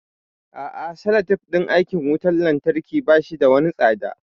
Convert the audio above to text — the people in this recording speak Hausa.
A'a salatif din aikin wutan lantarki bashi da wani tsada